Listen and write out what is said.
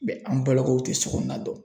an balakaw tɛ so kɔnɔna dɔn.